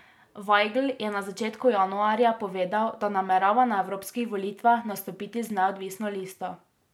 Vajgl je na začetku januarja povedal, da namerava na evropskih volitvah nastopiti z neodvisno listo.